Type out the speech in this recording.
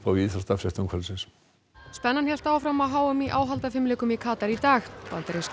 í íþróttafréttum kvöldsins spennan hélt áfram á h m í áhaldafimleikum í Katar í dag bandaríska